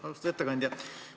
Austatud ettekandja!